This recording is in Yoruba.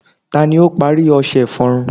ta ni o pari ọṣẹ iforun